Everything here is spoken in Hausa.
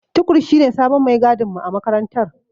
Tukur shine sabon maigadinmu a makarantar.